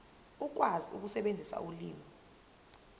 ukwazi ukusebenzisa ulimi